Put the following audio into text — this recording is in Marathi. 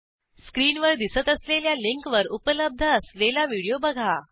स्क्रीनवर दिसत असलेल्या लिंकवर उपलब्ध असलेला व्हिडिओ बघा